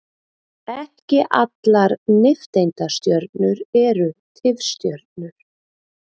Ekki allar nifteindastjörnur eru tifstjörnur.